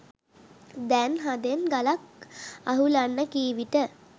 දැන් හදෙන් ගලක් අහුලන්න කී විට